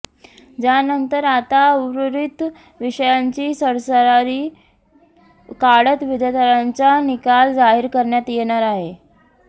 ज्यानंतर आता उर्वरित विषयांची सरासरी काढत विद्यार्थ्यांचा निकाल जाहीर करण्यात येणार आहे